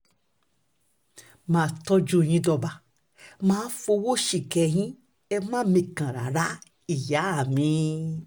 má a tọ́jú yín dọ́ba má a fọwọ́ síkẹ̀ yín ẹ má mikàn rárá ìyá mírílì